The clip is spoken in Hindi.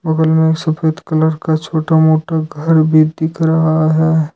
बगल में एक सफेद कलर का छोटा मोटा घर भी दिख रहा है।